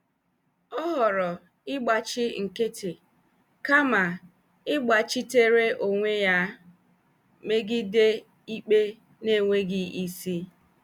Ọ họrọ ịgbachi nkịtị kama ịgbachitere onwe ya megide ikpe na-enweghị isi.